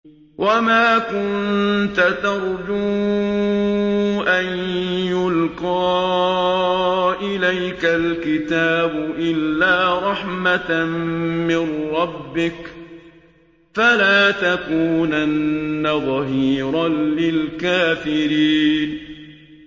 وَمَا كُنتَ تَرْجُو أَن يُلْقَىٰ إِلَيْكَ الْكِتَابُ إِلَّا رَحْمَةً مِّن رَّبِّكَ ۖ فَلَا تَكُونَنَّ ظَهِيرًا لِّلْكَافِرِينَ